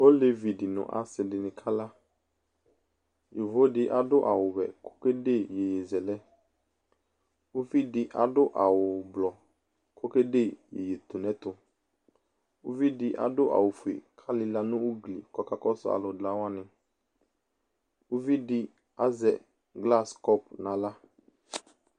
Olevi di nʋ asi di ni kala Yovo di adu awʋ vɛ kʋ okede iyeyezɛlɛ Uvi di adʋ awʋ ʋblʋɔ kʋ okede iyeyetunɛtʋ Uvi di adʋ awʋ fue kʋ alila nʋ ugli kʋ ɔkakɔsʋ alʋ la wani Uvi di azɛ glasi kɔpʋ n'aɣla